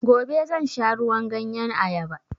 Gobe zan sha ruwan ganyen ayaba